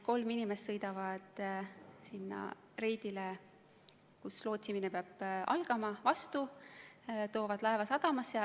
Kolm inimest sõidavad sinna reidile, kus lootsimine peab algama, vastu, toovad laeva sadamasse.